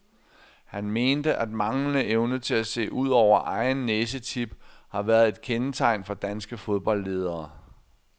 Han mente, at manglende evne til at se ud over egen næsetip har været et kendetegn for danske fodboldledere.